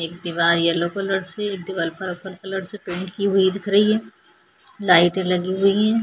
एक दीवार येलो एक पर्पल कलर से प्रिन्ट की हुई दिख रही है लाईटे लगी हुई है।